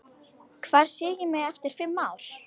Hvar sé ég mig eftir fimm ár?